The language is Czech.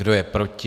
Kdo je proti?